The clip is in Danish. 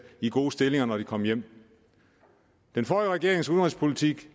i gode stillinger når de kom hjem den forrige regerings udenrigspolitik